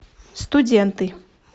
студенты